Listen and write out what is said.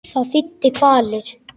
Það þýddi kvalir.